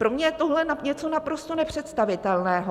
Pro mě je tohle něco naprosto nepředstavitelného.